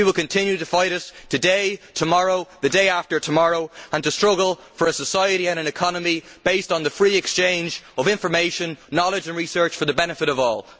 We will continue to fight it, today, tomorrow and the day after tomorrow, and to struggle for a society and an economy based on the free exchange of information, knowledge and research for the benefit of all.